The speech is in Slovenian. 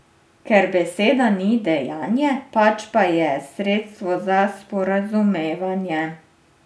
Ker beseda ni dejanje, pač pa je sredstvo za sporazumevanje.